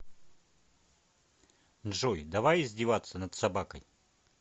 джой давай издеваться над собакой